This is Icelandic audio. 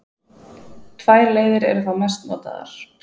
Tvær leiðir eru þá mest notaðar.